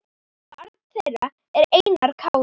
Barn þeirra er Einar Kári.